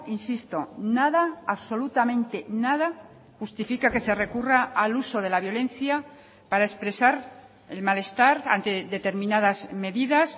insisto nada absolutamente nada justifica que se recurra al uso de la violencia para expresar el malestar ante determinadas medidas